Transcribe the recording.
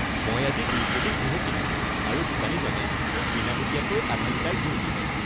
মই আজি ২ কেজি ঘেঁহু কিনিছিলোঁ আৰু দোকানীজনে মোক বিনামূলীয়াকৈ আধা লিটাৰ ঘিউ দিলে।